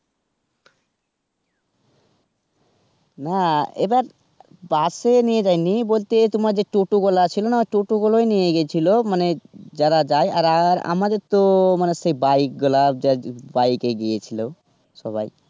না এবার বাস এ নিয়ে যায়নি বলতে তোমার যে টোটো ওয়ালা ছিল না টোটো গুলো নিয়ে গেছিলো মানে যারা যায় আর আমাদের তো bike ওয়ালা bike এ গিয়েছিলো সবাই.